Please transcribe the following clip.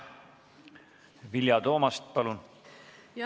Vilja Toomast, palun!